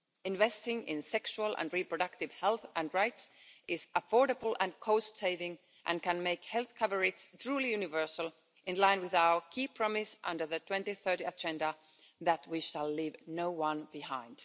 Investing in sexual and reproductive health and rights is affordable and cost saving and can make health coverage truly universal, in line with our key promise under the 2030 agenda that we shall leave no one behind.